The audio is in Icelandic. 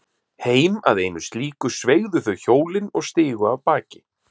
Heim að einu slíku sveigðu þau hjólin og stigu af baki.